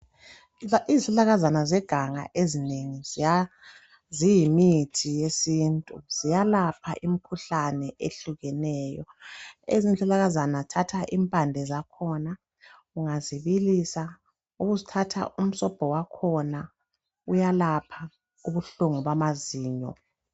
Izihlahlakana zeganga ezinengi ziyimithi yesintu ziyalapha imkhuhlani ehlukeneyo ezinye izihlahlakana thatha impande zakhona ungazibilisa ubusuthatha umsobho wakhona uyalapha ubuhlungu bamazinyo.